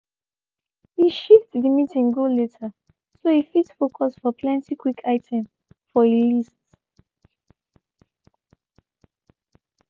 he shifte de meeting go later so e fit foucus for plenty quick item for e list.